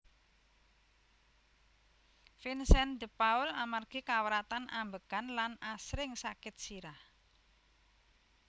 Vincent de Paul amargi kawratan ambegan lan asring sakit sirah